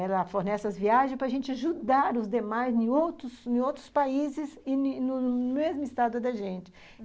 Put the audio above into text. Ela fornece as viagens para a gente ajudar os demais em outros em outros países e no mesmo estado da gente, ah...